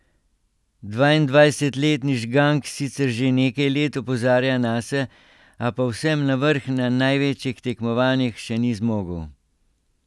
Dvaindvajsetletni Žgank sicer že nekaj let opozarja nase, a povsem na vrh na največjih tekmovanjih še ni zmogel.